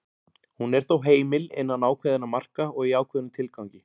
Hún er þó heimil innan ákveðinna marka og í ákveðnum tilgangi.